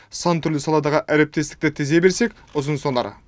сан түрлі саладағы әріптестікті тізе берсек ұзынсонар